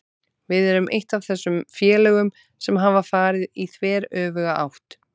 Við erum eitt af þessum félögum sem hafa farið í þveröfuga átt.